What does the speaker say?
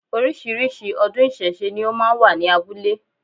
Orísìírísìí ọdún ìsẹ̀se ni ó máa wà ní abúlé